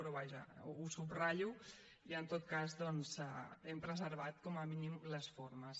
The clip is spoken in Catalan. però vaja ho subratllo i en tot cas doncs hem preservat com a mínim les formes